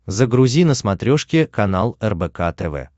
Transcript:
загрузи на смотрешке канал рбк тв